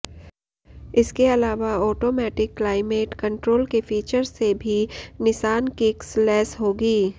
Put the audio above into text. इसके अलावा automatic climate control के फीचर्स से भी निसान किक्स लैस होगी